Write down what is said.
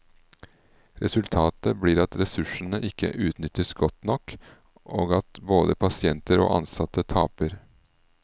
Resultatet blir at ressursene ikke utnyttes godt nok og at både pasienter og ansatte taper.